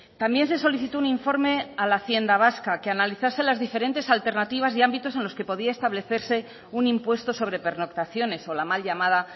también se solicitó un informe a la hacienda vasca que analizase las diferentes alternativas y ámbitos en los que podía establecerse un impuesto sobre pernoctaciones o la mal llamada